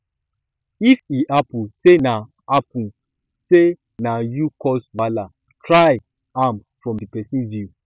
if e hapun sey na hapun sey na yu cause wahala try see am from di pesin view